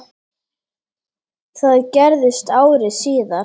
Það gerðist ári síðar.